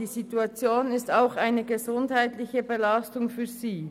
Die Situation ist auch eine gesundheitliche Belastung für sie.